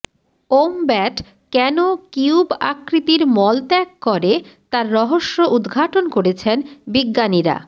wombat কেন cube আকৃতির মল ত্যাগ করে তার রহস্য উদঘাটন করেছেন বিজ্ঞানীরা